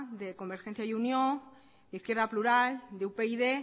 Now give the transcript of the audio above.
de convergencia y unió de izquierda plural de upyd